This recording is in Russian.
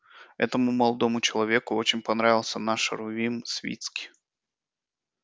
этому молодому человеку очень понравился наш рувим свицкий